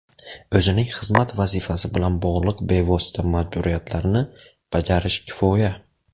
O‘zining xizmat vazifasi bilan bog‘liq bevosita majburiyatlarini bajarish kifoya.